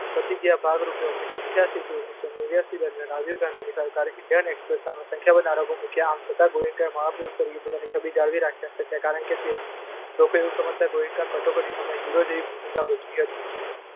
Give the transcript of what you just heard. પ્રતિક્રિયાના ભાગરૂપે ઓગણીસો અઠ્યાસી થી નેવ્યાસી સુધીમાં રાજીવની સરકારે ઈન્ડિયન એક્સ્પ્રેસ સામે સંખ્યાબંધ આરોપો મૂક્યા. આમ છતાં ગોએન્કા મહાપુરુષ તરીકેને પોતાની છબિ જાળવી શક્યા, કારણ કે ઘણા લોકો એવું સમજતા હતા કે ગોએન્કા કટોકટીના સમયના હીરો જેવી ભૂમિકા ભજવતા હતી.